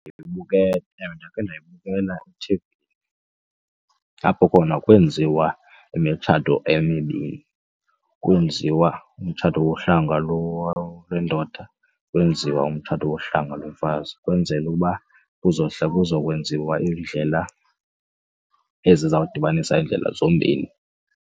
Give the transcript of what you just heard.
Ewe, ndakhe ndayibukela ethivini apho khona kwenziwa imitshato emibini. Kwenziwa umtshato wohlanga lwendoda, kwenziwa umtshato yohlanga lomfazi ukwenzela uba kuzokwenziwa indlela ezizawudibanisa iindlela zombini.